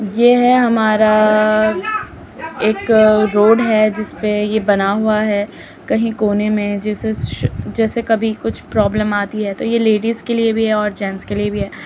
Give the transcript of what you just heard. ये है हमारा एक रोड है जिसपे ये बना हुआ है। कही कोने में जिसे श-श- जैसे कभी कुछ प्रॉब्लम आती है तो ये लेडीज़ के लिए भी है और जेंट्स के लिए भी है।